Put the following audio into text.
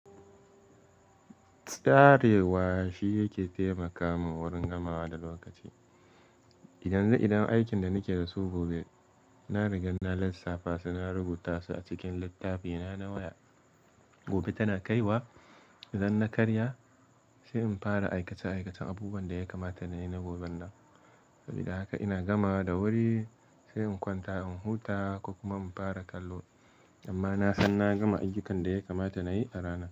Tsarewa shi yake taimaka min wurin gamawa da lokaci. Idan zai iya aikin da nake da su gobe, na rigan na lissafta su, na rubuta su a cikin littafina na waya. Gobe tana kai wa, idan na karya sai in fara aikace-aikacen abubuwan da ya kamata nayi na goben nan. Sabida haka ina gama da wuri sai in kwanta, in huta ko kuma in fara kallo. Amma na san na gama ayyukan da ya kamata nayi a rana.